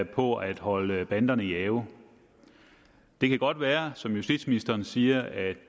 på at holde banderne i ave det kan godt være som justitsministeren siger at